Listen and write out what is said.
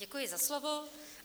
Děkuji za slovo.